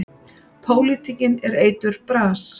Pólitíkin er eiturbras.